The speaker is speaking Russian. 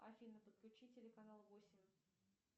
афина подключи телеканал восемь